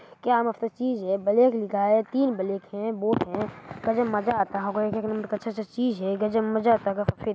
क्या मस्त चीज़ है-है ब्लैक लिखा है तीन बलैक है बोर्ड है करने में मजा आता होगा--